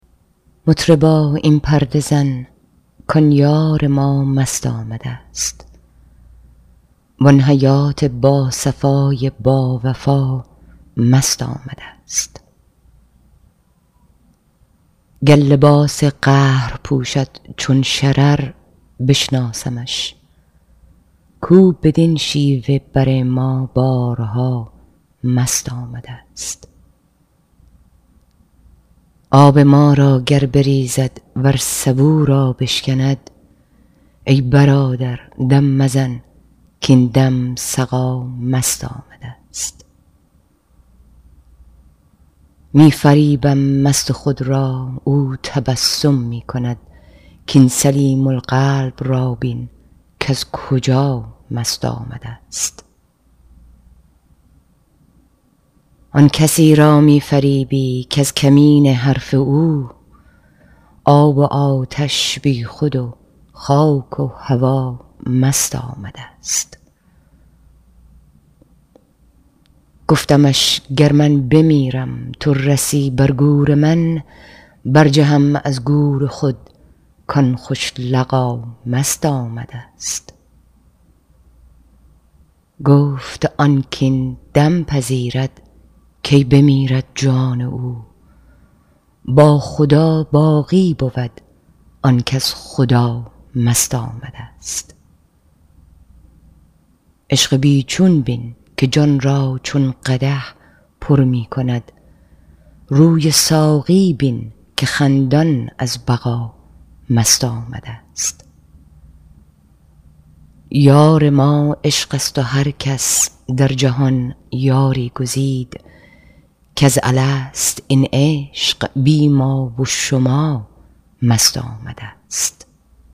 مطربا این پرده زن کان یار ما مست آمدست وان حیات باصفای باوفا مست آمدست گر لباس قهر پوشد چون شرر بشناسمش کو بدین شیوه بر ما بارها مست آمدست آب ما را گر بریزد ور سبو را بشکند ای برادر دم مزن کاین دم سقا مست آمدست می فریبم مست خود را او تبسم می کند کاین سلیم القلب را بین کز کجا مست آمدست آن کسی را می فریبی کز کمینه حرف او آب و آتش بیخود و خاک و هوا مست آمدست گفتمش گر من بمیرم تو رسی بر گور من برجهم از گور خود کان خوش لقا مست آمدست گفت آن کاین دم پذیرد کی بمیرد جان او با خدا باقی بود آن کز خدا مست آمدست عشق بی چون بین که جان را چون قدح پر می کند روی ساقی بین که خندان از بقا مست آمدست یار ما عشق است و هر کس در جهان یاری گزید کز الست این عشق بی ما و شما مست آمدست